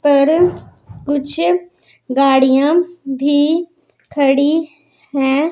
पर कुछ गाड़ियां भी खड़ी हैं।